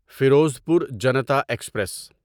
Ferozepur Janata express